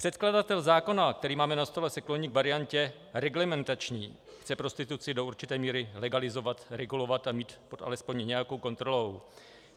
Předkladatel zákona, který máme na stole, se kloní k variantě reglementační, chce prostituci do určité míry legalizovat, regulovat a mít alespoň pod nějakou kontrolou.